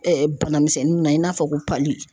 Ɛɛ bana misɛnninw na i n'a fɔ ko .